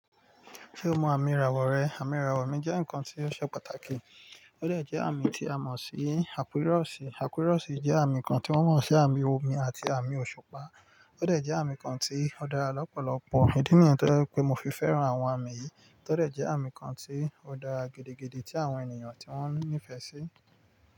Ṣé o mọ àmì ìràwọ̀ rẹ? Àmì ìràwọ̀ mi jẹ́ nǹkan tí ó ṣe pàtàkì. Ó dẹ̀ jẹ́ àmì tí a mọ̀ sí Aquarius. Aquarius jẹ́ àmì kan tí wọ́n mọ̀ sí àmì omi àti àmì òṣùpá. Ó dẹ̀ jẹ́ àmì kan tí ó dára lọ́pọ̀lọpọ̀. Ìdí nìyẹn tó jẹ́ wipé mo fi fẹ́ràn àwọn àmì yìí. To dẹ̀ jẹ́ àmì kan tí ó dára gidigidi tí àwọn ènìyàn tí wọ́n nífẹ̀ẹ́ sí.